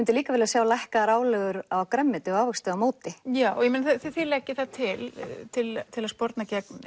líka vilja sjá lækkaðar álögur á grænmeti og ávexti á móti já og þið leggið það til til til að sporna gegn